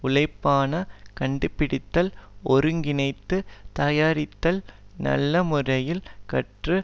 உழைப்பான கண்டுபிடித்தல் ஒருங்கிணைத்துத் தயாரித்தல் நல்ல முறையில் கற்று